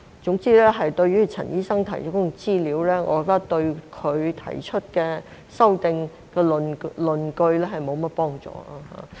總之，陳醫生提出的資料，我覺得對他所提修訂的論據沒有甚麼幫助。